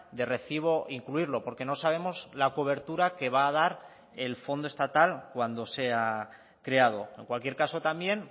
de recibo incluirlo porque no sabemos la cobertura que va a dar el fondo estatal cuando sea creado en cualquier caso también